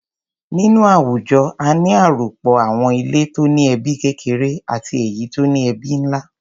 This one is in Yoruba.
Nínú àwùjọ kan, a ní àròpọ̀ àwọn ilé tó ní ẹbí kékeré àti èyí tó ní ẹbí ńlá.